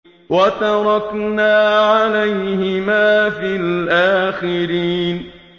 وَتَرَكْنَا عَلَيْهِمَا فِي الْآخِرِينَ